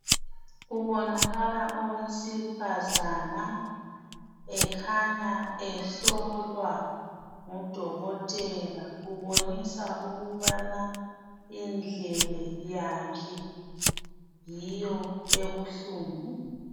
Kubonakala owesifazana ekhanya ehlolwa ngodokotela ubonisa ukubana indlebe yakhe yiyo ebuhlungu.